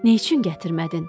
Nə üçün gətirmədin?